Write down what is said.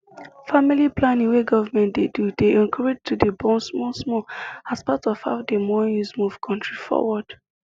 family planning wey government dey do dey encourage to dey born small small as part of how them wan use move country forward